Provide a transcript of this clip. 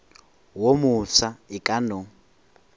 wo mofsa e ka no